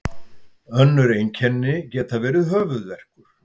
önnur einkenni geta verið höfuðverkur